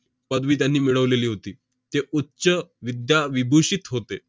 पदवी त्यांनी मिळवलेली होती. ते उच्चविद्याविभूषित होते.